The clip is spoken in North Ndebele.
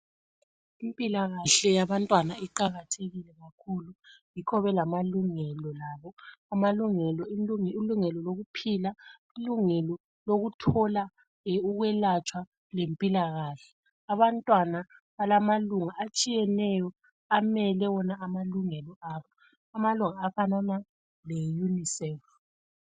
Impilakahle yabantwana iqakathekile kakhulu yikho belamalungelo labo, ilungelo lokuphila, ilungelo lokuthola ukwelatshwa lempilakahle. Abantwana balamalunga atshiyeneyo amele wona amalungelo abo, amalunga afana leunicef.